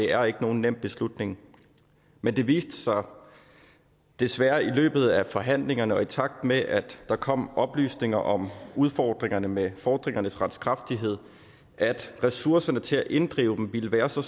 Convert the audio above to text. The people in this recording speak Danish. er ikke nogen nem beslutning men det viste sig desværre i løbet af forhandlingerne og i takt med at der kom oplysninger om udfordringerne med fordringernes retskraftighed at ressourcerne til at inddrive dem ville være så